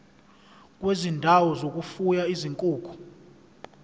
kwezindawo zokufuya izinkukhu